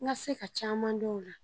N ka se ka caman dɔn a la.